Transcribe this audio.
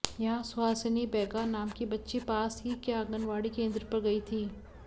यहां सुहासिनी बैगा नाम की बच्ची पास ही के आंगनवाड़ी केंद्र पर गई थी